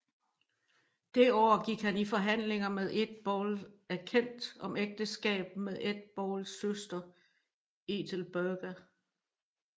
Det år gik han i forhandlinger med Eadbald af Kent om ægteskab med Eadbalds søster Ethelburga